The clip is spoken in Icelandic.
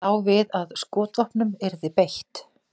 Lá við að skotvopnum yrði beitt